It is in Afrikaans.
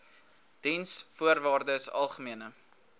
diensvoorwaardesalgemene